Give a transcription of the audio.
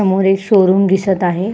समोर एक शोरूम दिसत आहे.